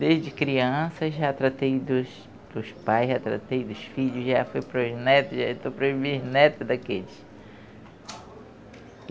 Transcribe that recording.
Desde criança já tratei dos dos pais, já tratei dos filhos, já fui para os netos, já estou para os bisnetos daqueles.